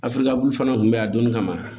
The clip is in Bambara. fana kun bɛ yan a donni kama